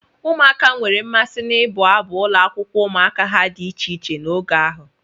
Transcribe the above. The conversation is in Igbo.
Ụmụaka nwere mmasị n'ịbụ abụ ụlọakwụkwọ ụmụaka ha dị iche iche n'oge ahụ.